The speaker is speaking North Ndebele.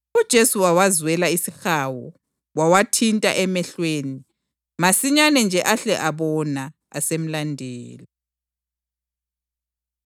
UJesu wawazwela isihawu wawathinta emehlweni. Masinyane nje ahle abona asemlandela.